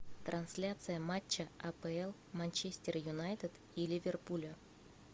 трансляция матча апл манчестер юнайтед и ливерпуля